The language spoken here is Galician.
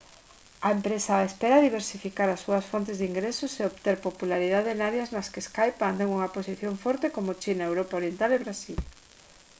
a empresa espera diversificar as súas fontes de ingresos e obter popularidade en áreas nas que skype mantén unha posición forte como china europa oriental e brasil